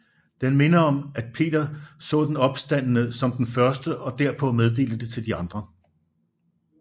Den minder om at Peter så den opstandne som den første og derpå meddelte det til andre